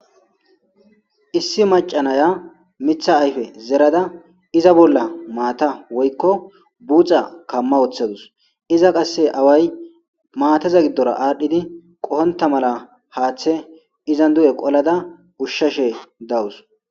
Issi macca naya miththa ayiffe zerada iza bolla mata woyikko buxxa kamma woththadus izza qase away mataza giddora adhdhidi qohonta mala haththe izzan dugge qoolada ushshashe dawus.